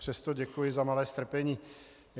Přesto děkuji za malé strpení.